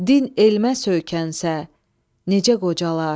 Din elmə söykənsə, necə qocalar.